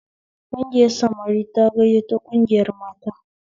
Kungiyar samari ta gayyato kungiyar mata